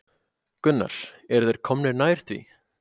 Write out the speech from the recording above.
Gunnar: Eru þeir komnir nær því?